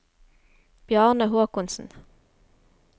Bjarne Håkonsen